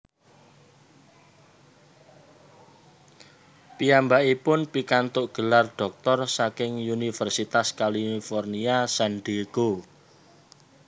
Piyambakipun pikantuk gelar dhoktor saking Universitas California San Diego